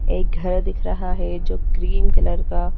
एक घर दिख रहा है जो क्रीम कलर का--